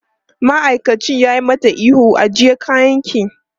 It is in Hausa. Ma'aikacin ya yi mata ihu, ajiye kayanki!